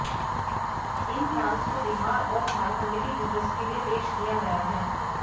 इन plans को बिहार और झारखण्ड के यूजर्स के लिए पेश किया गया है